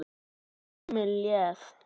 Og tíminn leið.